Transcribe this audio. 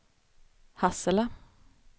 Hassela